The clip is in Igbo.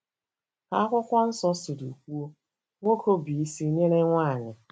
Ka akwụkwọ nsọ siri kwuo, nwoke bụ isi nyere nwanyị.